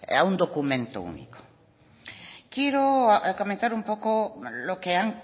a un documento único quiero comentar un poco lo que han